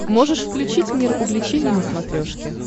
можешь включить мир увлечений на смотрешке